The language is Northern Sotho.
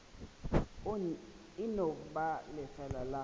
e no ba lefeela la